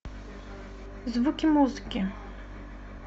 звуки музыки